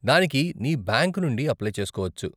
దానికి నీ బ్యాంక్ నుండి అప్లై చేసుకోవచ్చు.